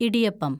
idiyappam